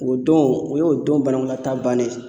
O don o y'o don banakɔlataa bannen ye